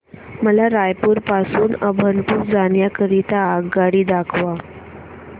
मला रायपुर पासून अभनपुर जाण्या करीता आगगाडी दाखवा